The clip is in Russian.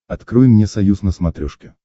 открой мне союз на смотрешке